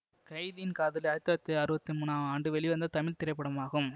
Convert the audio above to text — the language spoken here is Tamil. கைதியின் காதலி ஆயிரத்தி தொள்ளாயிரத்தி அறுபத்தி மூன்னா ஆண்டு வெளிவந்த தமிழ் திரைப்படமாகும்